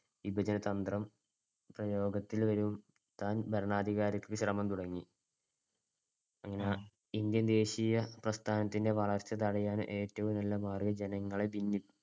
വിപജന തന്ത്രം പ്രയോഗത്തിൽ വരുത്താൻ ഭരണാധികാരിക്ക് ശ്രമം തുടങ്ങി. ഇന്ത്യൻ ദേശീയ പ്രസ്ഥാനത്തിൻടെ വളർച്ച തടയാൻ ഏറ്റവും നല്ല മാർഗ്ഗം ജനങ്ങളെ ഭിന്നി~